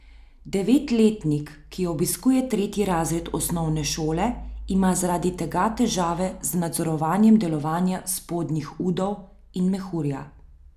Devetletnik, ki obiskuje tretji razred osnovne šole, ima zaradi tega težave z nadzorovanjem delovanja spodnjih udov in mehurja.